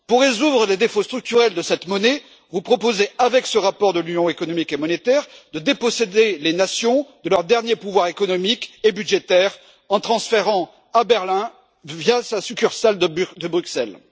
Pour résoudre les défauts structurels de cette monnaie, vous proposez, dans ce rapport sur l'Union économique et monétaire, de déposséder les nations de leurs derniers pouvoirs économiques et budgétaires en les transférant à Berlin via sa succursale de Bruxelles.